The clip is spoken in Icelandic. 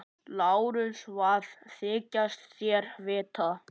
LÁRUS: Hvað þykist þér vita?